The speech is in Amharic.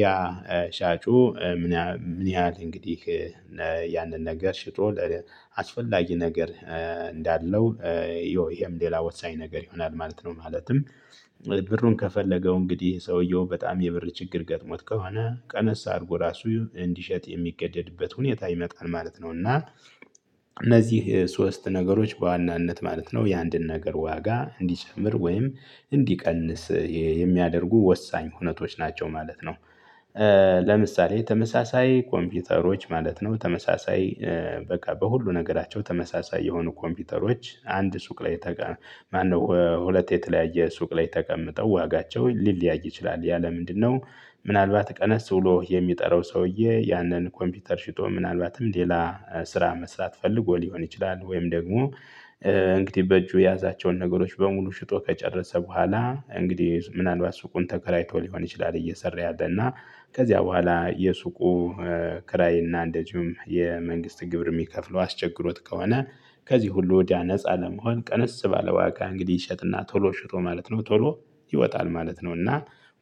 ያ ሻጩ ምን ምን ያህል እንግዲህ ያንን ነገር ሽጦ አስፈላጊ ነገር እንዳለው ይሄም ሌላ ወሳኝ ነገር ይሆናል ማለት ነው። ማለትም ብሩን ከፈለገው እንግዲህ ሰውየው በጣም የብር ችግር ገጥሞት ከሆነ ቀነስ አድርጎ ራሱ እንዲሸጥ የሚገደድበት ሁኔታ ይመጣል ማለት ነው። እና እነዚህ ሶስት ነገሮች በዋናነት ማለት ነው የአንድን ነገር ዋጋ እንዲጨምር ወይም እንዲቀንስ የሚያደርጉ ወሳኝ ሁነቶች ናቸው ማለት ነው። ለምሳሌ ተመሳሳይ ኮምፒውተሮች ማለት ነው ተመሳሳይ በቃ በሁሉ ነገራቸው ተመሳሳይ የሆኑ ኮምፒውተሮች አንድ ሱቅ ላይ ተቀ ማነው ሁለት የተለያየ ሱቅ ላይ ተቀምጠው ዋጋቸው ሊለያይ ይችላል ያ ለምንድነው? ምናልባት ቀነስ ውሎ የሚጠራው ሰውዬ ያንን ኮምፒውተር ሽጦ ምናልባትም ሌላ ስራ መስራት ፈልጎ ሊሆን ይችላል። ወይም ደግሞ እንግዲህ በእጁ ያዛቸውን ነገሮች በሙሉ ሽጦ ከጨረሰ በኋላ እንግዲህ ምናልባት ሱቁን ተከራይቶ ሊሆን ይችላል እየሰራ ያለ እና ከዚያ በኋላ የሱቁ ክራይ እና እንደዚሁም የመንግስት ግብር የሚከፍለው አስቸግሮት ከሆነ ከዚህ ሁሉ ወዲያ ነፃ ለመሆን ቀንስ ባለዋጋ እንግዲህ ይሸጥና ቶሎ ሽጦ ማለት ነው። ቶሎ ይወጣል ማለት ነው። እና